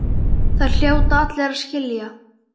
Það hljóta allir að skilja.